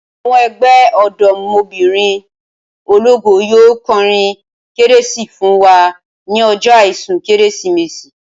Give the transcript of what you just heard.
Awo̩n e̩gbé̩ o̩dò̩mo̩bìnrin ológo yóò ko̩rin kérésì fún wa ní o̩jó̩ àìsùn kérésìmesì